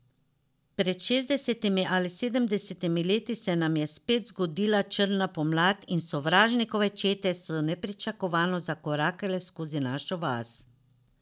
Pred šestdesetimi ali sedemdesetimi leti se nam je spet zgodila črna pomlad in sovražnikove čete so nepričakovano zakorakale skozi našo vas.